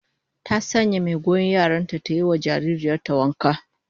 Ta sanya mai goyon yaran ta ta yi wa jaririyar ta wanka